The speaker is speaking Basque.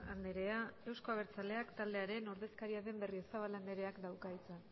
andrea euzko abertzaleak taldearen ordezkaria den berriozabal andreak dauka hitza